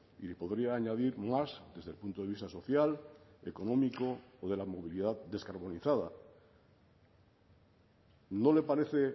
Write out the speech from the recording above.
y le podría añadir más desde el punto de vista social económico o de la movilidad descarbonizada no le parece